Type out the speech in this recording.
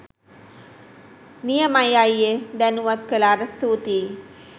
නි‍ය‍ම‍යි ‍අ‍යි‍යේ ‍දැ‍නු‍වත්‍ ‍ක‍ලා‍ට ස්‍තූ‍ති‍යි.